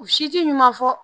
U si ti ɲuman fɔ